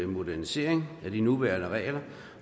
modernisering af de nuværende regler